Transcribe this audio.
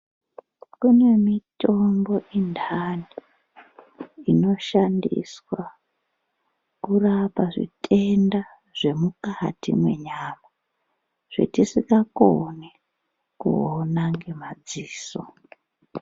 Kune mitombo intani inoshandiswa kurapa zvitenda zvemukati menyama zvetisikakoni kuona ngemadziso.